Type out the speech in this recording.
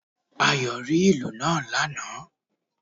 Ayò ó rí ìlù náà lánàà